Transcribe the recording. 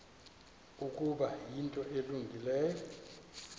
ukuba yinto elungileyo